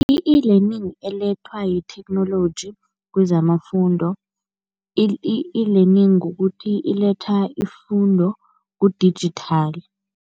I-e-Learning elethwa yitheknoloji kwezamafundo i-e-Learning kukuthi iletha ifundo kudijithali.